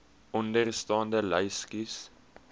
onderstaande lys kies